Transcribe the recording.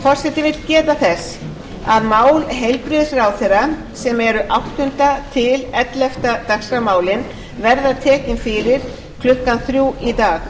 forseti vill geta þess að mál heilbrigðisráðherra sem eru áttundi til ellefta dagskrármálin verða tekin fyrir klukkan þrjú í